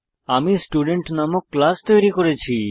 আমি স্টুডেন্ট নামক ক্লাস তৈরী করেছি